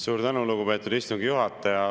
Suur tänu, lugupeetud istungi juhataja!